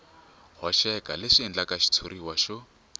hoxeka leswi endlaka xitshuriwa xo